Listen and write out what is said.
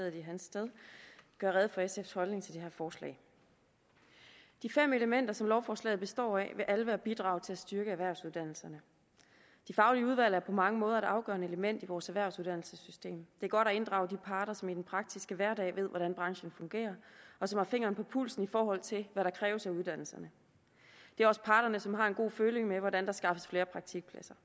i hans sted gøre rede for sfs holdning til det her forslag de fem elementer som lovforslaget består af vil alle være bidrag til at styrke erhvervsuddannelserne de faglige udvalg er på mange måder et afgørende element i vores erhvervsuddannelsessystem det er godt at inddrage de parter som i den praktiske hverdag ved hvordan branchen fungerer og som har fingeren på pulsen i forhold til hvad der kræves af uddannelserne det er også parterne som har en god føling med hvordan der skaffes flere praktikpladser